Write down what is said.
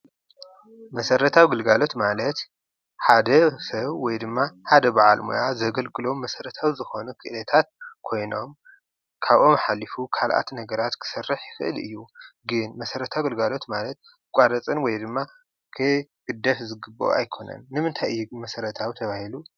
መሰራተዊ ግልጋሎት ማለት ሓደ ሰብ ወይ ድማ ሓደ በዓል ሞያ ዘገልግሎም መሰረታዊ ዝኮነ ድልየታት ኮይኖም ካብኡ ሓሊፉ ካልኦት ነገራት ክሰርሕ ይክእል እዩ፡፡ ግን መሰረታዊ ግልጋሎት ዝባሃል ክቋረፅን ወይ ክግደፍን ዝገበኦ ኣይኮነን፡፡ ንምንታይ እዩ መሰረታዊ ተባሂሉ?